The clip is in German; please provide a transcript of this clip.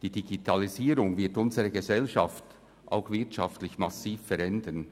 Die Digitalisierung wird unsere Gesellschaft auch wirtschaftlich massiv verändern.